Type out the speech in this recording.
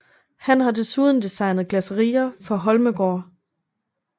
Han har desuden designet glasserier for Holmegaard